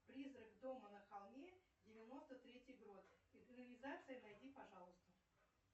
призрак дома на холме девяносто третий год экранизация найди пожалуйста